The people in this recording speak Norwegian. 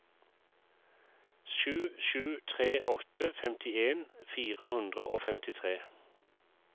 sju sju tre åtte femtien fire hundre og femtitre